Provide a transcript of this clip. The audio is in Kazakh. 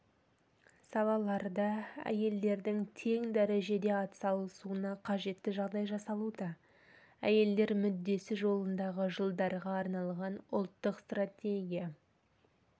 салаларда әйелдердің тең дәрежеде атсалысуына қажетті жағдай жасалуда әйелдер мүддесі жолындағы жылдарға арналған ұлттық стратегия